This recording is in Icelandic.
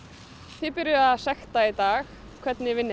þið byrjuðuð að sekta í dag hvernig vinnið